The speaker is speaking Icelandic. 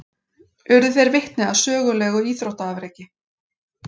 Urðu þeir vitni að sögulegu íþróttaafreki